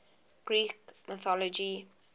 greek mythology